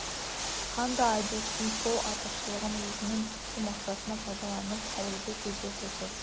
хан да айдостың сол артықшылығын өзінің түпкі мақсатына пайдаланып қалуды көздеп отыр